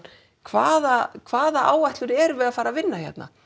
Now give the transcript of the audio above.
hvaða hvaða áætlun erum við að fara að vinna hérna